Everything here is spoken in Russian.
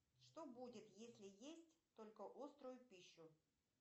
что будет если есть только острую пищу